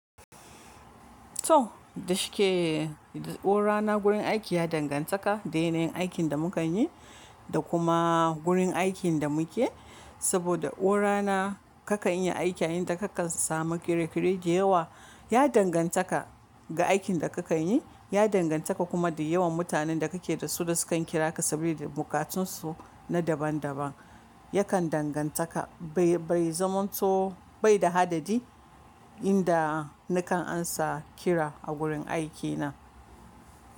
To, da shike o rana gurin aiki ya dangantaka da yanayin aikin da mukanyi da kuma gurin aikin da muke. Saboda o rana kakan iya aiki a inda kakan samu kere-kere da yawa, ya dangantaka ga aikin da kakan yi, ya dangantaka kuma da yawan mutanen da kake da su da sukan kira ka sabida bukatun su na daban daban. Yakan dangantaka bai, bai zaman to bai da hadadi inda ni kan amsa kira a gurin aiki na.